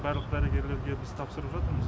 барлық дәрігерлерге біз тапсырып жатырмыз